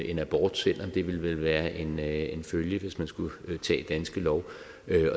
en abort selv om det vel ville være en være en følge hvis man skulle tage danske lov